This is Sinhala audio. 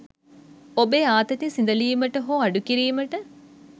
ඔබේ ආතති සිඳලීමට හෝ අඩුකිරීමට